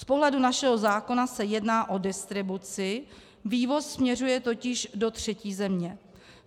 Z pohledu našeho zákona se jedná o distribuci, vývoz směřuje totiž do třetí země.